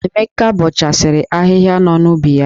Emeka bọchasịrị ahịhịa nọ n'ubi ya.